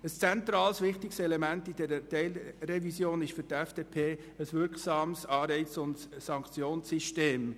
Ein zentrales, wichtiges Element bei dieser Teilrevision ist für die FDP ein wirksames Anreiz- und Sanktionssystem.